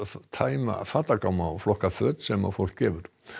tæma fatagáma og flokka föt sem fólk gefur